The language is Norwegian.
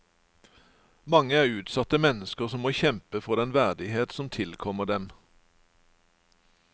Mange er utsatte mennesker som må kjempe for den verdighet som tilkommer dem.